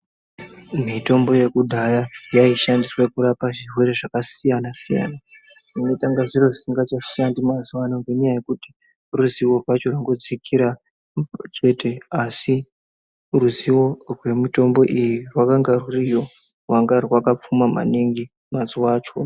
Mitombo yekudhaya yeishandiswe kurapa zvirwere zvakasiyana -siyana. Zvinetenge zviro zvisingachashandi mazuwa ano ngenyaya yekuti ruzivo rwacho rwurikudzikira chete asi ruzivo rwemitombo iyi rwakangarwuriyo rwanga rwakapfuma maningi mazuwa acho.